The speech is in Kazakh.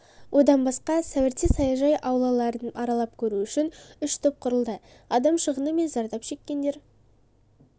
одан басқа сәуірде саяжай аулаларын аралап көру үшін үш топ құрылды адам шығыны мен зардап шеккендер